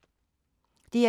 DR2